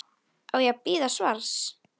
Hann snýr sér að henni.